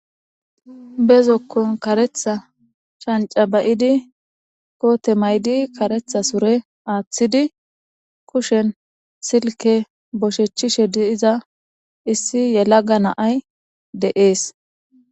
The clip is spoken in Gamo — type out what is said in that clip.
bezokkon karetha shanca bay7idi koote maydi karetha sure aaththidi kushen silke boshechchishe di7iza issi yelaga naay deees